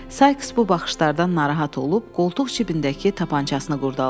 Sayks bu baxışlardan narahat olub, qoltuq cibindəki tapançasını qurdaladı.